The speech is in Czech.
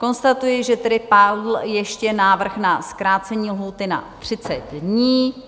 Konstatuji, že tedy padl ještě návrh na zkrácení lhůty na 30 dní.